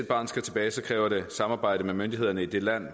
et barn skal tilbage kræver det samarbejde med myndighederne i det land